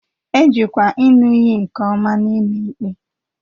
E jikwa ịṅụ iyi nke ọma n'ụlọ ikpe